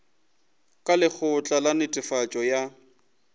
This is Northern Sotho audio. ka lekgotla la netefatšo ya